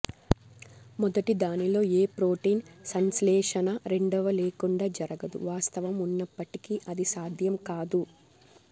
మొదటిదానిలో ఏ ప్రోటీన్ సంశ్లేషణ రెండవ లేకుండా జరగదు వాస్తవం ఉన్నప్పటికీ అది సాధ్యం కాదు